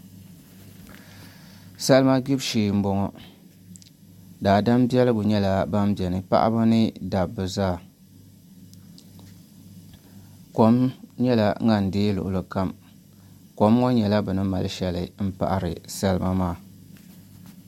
Salima gbubi shee n boŋo daadam biɛligu nyɛla ban bɛ ni paɣaba ni dabba zaa kom nyɛla ŋan deei luɣuli kam kom ŋo nyɛla bini mali shɛli n paɣari salima maa